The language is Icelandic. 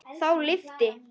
Þá lyfti